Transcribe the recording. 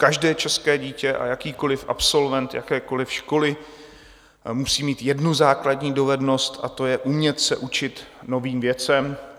Každé české dítě a jakýkoli absolvent jakékoli školy musí mít jednu základní dovednost, a to je umět se učit novým věcem.